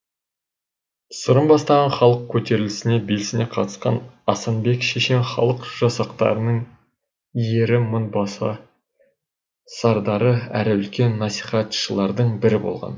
сырым бастаған халық көтерілістеріне белсене қатысқан асанбек шешен халық жасақтарының ері мынбасы сардары әрі үлкен насихатшылардың бірі болған